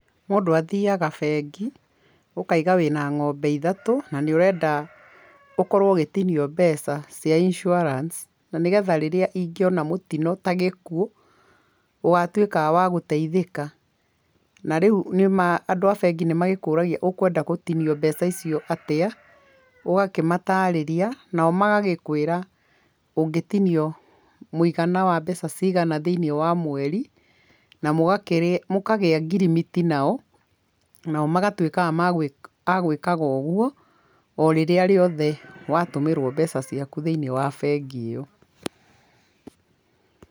Mũndũ athiaga bengi ũkaiga wĩna ng'ombe ithtũ na nĩ ũrenda ũkorwo ũgĩtinio mbeca cia insuarance, na nĩ getha rĩrĩa ingona mũtino ta gĩkuũ ũgatuĩka wa gũteithĩka. Na rĩu nĩ ma andũ a bengi nĩ makũraga ũkwenda gũtinio mbeca icio atĩa ũgakĩmatarĩria nao magagĩkũĩra ũngĩ tinio mũigana wa mbeca cigana thĩinĩ wa mweri. Na mũkagĩa ngirimiti nao nao magatuĩkaga agwĩkaga ũguo o rĩrĩa rĩothe watũmĩrwo mbeca ciaku thĩinĩ wa bengi ĩyo.